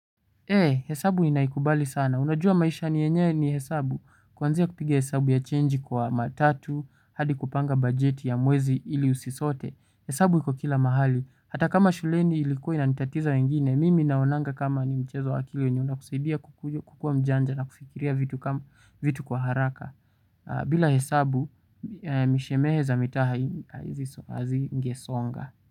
He, hesabu inaikubali sana, unajua maisha nienye ni hesabu, kuanzia kupige hesabu ya chenji kwa matatu, hadi kupanga bajeti ya mwezi ili usisote, hesabu hiko kila mahali, hata kama shuleni ilikoi na nitatiza wengine, mimi inaonanga kama ni mchezo wakili wenye unakusaidia kukua mjanja na kufikiria vitu kwa haraka, bila hesabu mishemehe za mitaa hazingesonga.